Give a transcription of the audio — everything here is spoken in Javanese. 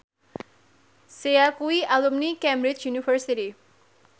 Sia kuwi alumni Cambridge University